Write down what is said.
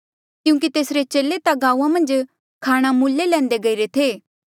क्यूंकि तेसरे चेले ता गांऊँआं मन्झ खाणा मूल्ले लैंदे गईरे थे